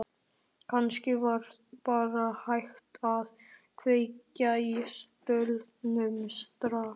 Kannski var bara hægt að kveikja í stólnum strax.